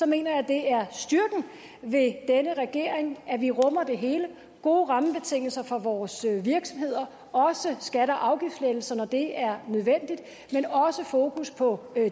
mener det er styrken ved denne regering at vi rummer det hele gode rammebetingelser for vores virksomheder også skatte og afgiftslettelser når det er nødvendigt fokus på